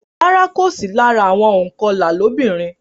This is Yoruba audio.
Rárá, kò sì lára àwọn ònkọlà lóbìnrin.